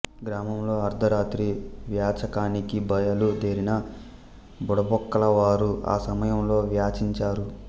గ్రామంలో అర్థ రాత్రి వ్వాచకానికి బయలు దేరిన బుడబుక్కల వారు ఆ సమయంలో వ్వాచించరు